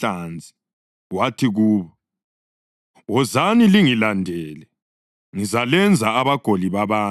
Wathi kubo, “Wozani lingilandele, ngizalenza abagoli babantu.”